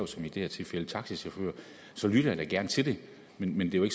som i det her tilfælde taxachauffører så lytter jeg da gerne til det men det er jo